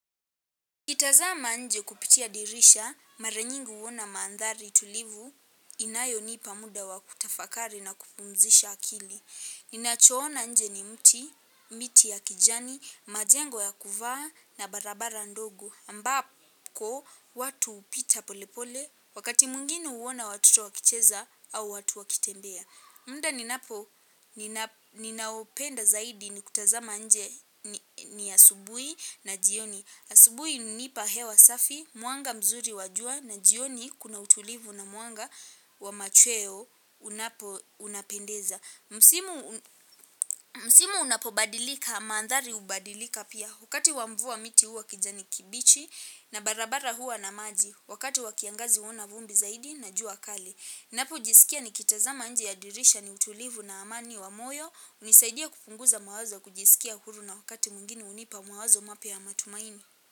Kitazama nje kupitia dirisha, mara nyingi huona maandhari tulivu, inayo nipa muda wa kutafakari na kupumzisha akili. Ninacho ona nje ni mti, miti ya kijani, majengo ya kuvaa na barabara ndogo. Ambako, watu upita pole pole, wakati mwinginu uona watuto wakicheza au watu wakitembea. Munda ninapo, ninaopenda zaidi ni kutazama nje ni asubui na jioni. Asubui unipa hewa safi, mwanga mzuri wa jua na jioni kuna utulivu na mwanga wa machweo unapo unapendeza. Msimu unapobadilika, maandhari hubadilika pia wakati wa mvua miti huwa kijani kibichi na barabara huwa na maji. Wakati wa kiangazi huona vumbi zaidi na jua kali. Napo jisikia nikitazama nje ya dirisha ni utulivu na amani wa moyo. Unisaidia kupunguza mawazo kujisikia huru na wakati mwingine unipa mawazo mapya ya matumaini.